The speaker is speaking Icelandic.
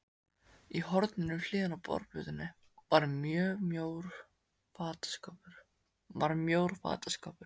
Í horninu við hliðina á borðplötunni var mjór fataskápur.